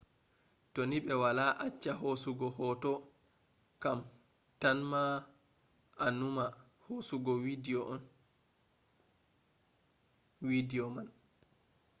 to ni ɓe wala acca hosugo hoto kam ta ma a numa hosugo widiyo man